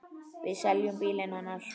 Við seljum bílinn hennar þá.